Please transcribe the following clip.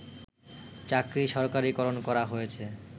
চাকরি সরকারিকরণ করা হয়েছে